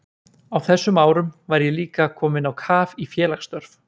Á þessum árum var ég líka kominn á kaf í félagsstörf.